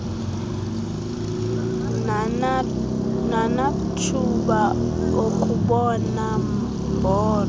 nanathuba okubona mbombo